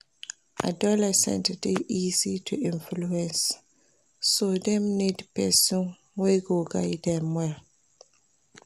Adolescents de easy to influence so dem need persin wey go guide dem well